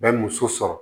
Bɛ muso sɔrɔ